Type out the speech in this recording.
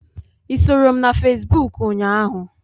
I soro m na fesbụụk ụnyaahụ?